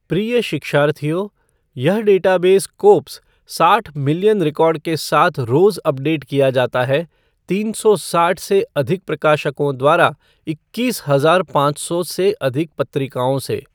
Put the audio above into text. प्रिय शिक्षार्थियों, यह डेटाबेस स्कोप्स साठ मिलियन रिकॉर्ड के साथ रोज अपडेट किया जाता है तीन सौ साठ से अधिक प्रकाशकों द्वारा इक्कीस हजार पाँच सौ से अधिक पत्रिकाओं से।